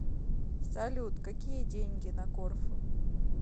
салют какие деньги на корфу